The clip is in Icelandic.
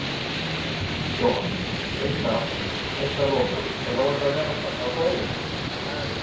Jóhann: Eitt að, eitt að lokum, er óhætt að vera á svæðinu?